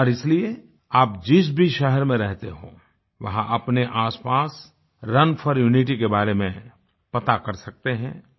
और इसलिए आप जिस भी शहर में रहते हों वहाँ अपने आसपास रुन फोर यूनिटी के बारे में पता कर सकते हैं